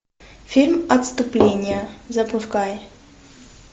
фильм отступление запускай